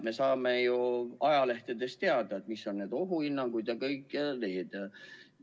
Me saame ju ajalehtedest teada, mis on need ohuhinnangud ja kõik teised hinnangud.